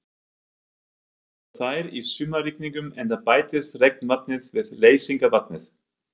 Mestar verða þær í sumarrigningum enda bætist regnvatnið við leysingarvatnið.